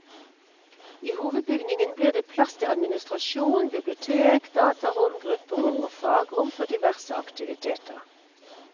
I hovedbygningen blir det plass til administrasjon, bibliotek, datarom, grupperom og fagrom for diverse aktiviteter.